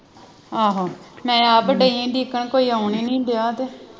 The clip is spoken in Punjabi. ਆਹੋ ਮੈਂ ਆਪ ਦਈ ਆ ਕੋਈ ਆਉਣ ਨਹੀਂ ਨਾ ਆਉਣ ਤੇ